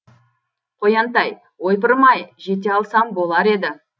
қоянтай ойпырмай жете алсам болар еді